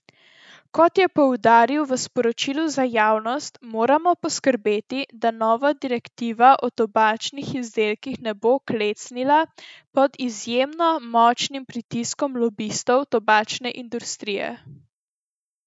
Kot je poudaril v sporočilu za javnost, moramo poskrbeti, da nova direktiva o tobačnih izdelkih ne bo klecnila pod izjemno močnim pritiskom lobistov tobačne industrije.